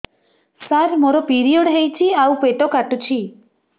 ସାର ମୋର ପିରିଅଡ଼ ହେଇଚି ଆଉ ପେଟ କାଟୁଛି